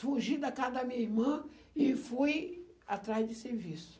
Fugi da casa da minha irmã e fui atrás de serviço.